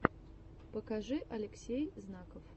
покажи алексей знаков